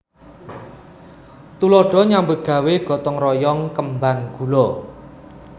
Tuladha nyambut gawé gotong royong kembang gula